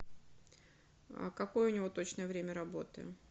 какое у него точное время работы